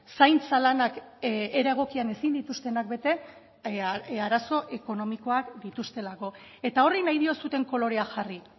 zaintza lanak era egokian ezin dituztenak bete arazo ekonomikoak dituztelako eta horri nahi diozuen kolorea jarri